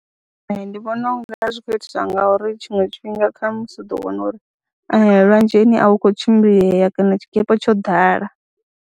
Ee, ndi vhona u nga zwi khou itiswa ngauri tshiṅwe tshifhinga kha musi u ḓo wana uri lwanzheni a hu khou tshimbilea kana tshikepe tsho ḓala.